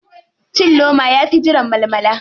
Cin loma yafi jiran malmala.